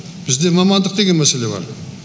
бізде мамандық деген мәселе бар